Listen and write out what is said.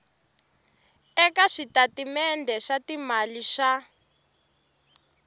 eka switatimende swa timali swa